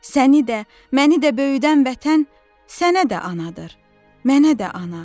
Səni də, məni də böyüdən vətən sənə də anadır, mənə də ana.